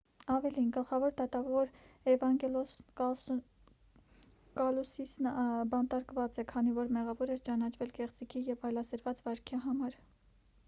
ավելին գլխավոր դատավոր էվանգելոս կալուսիսն բանտարկված է քանի որ մեղավոր էր ճանաչվել կեղծիքի և այլասերված վարքի համար